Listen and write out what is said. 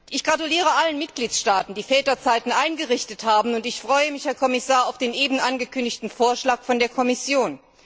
Ich gratuliere allen Mitgliedstaaten, die Väterzeiten eingerichtet haben, und ich freue mich, Herr Kommissar, auf den eben angekündigten Vorschlag der Kommission.